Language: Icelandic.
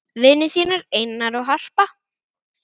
þínir vinir, Einar og Harpa.